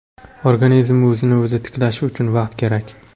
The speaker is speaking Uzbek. Organizm o‘zini-o‘zi tiklashi uchun vaqt kerak.